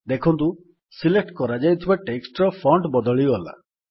ଦେଖନ୍ତୁ ସିଲେକ୍ଟ କରାଯାଇଥିବା ଟେକ୍ସଟ୍ ର ଫଣ୍ଟ୍ ବଦଳିଗଲା